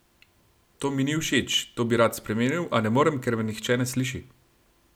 To mi ni všeč, to bi rad spremenil, a ne morem, ker me nihče ne sliši!